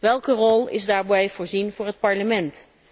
Welke rol is daarbij voorzien voor het Parlement?